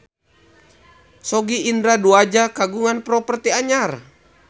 Sogi Indra Duaja kagungan properti anyar